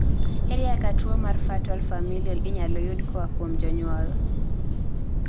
ere kaka tuwo mar fatal familial inyalo yud koa kuom janyuol?